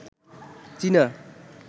চীনা